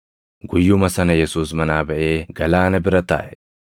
Guyyuma sana Yesuus manaa baʼee galaana bira taaʼe.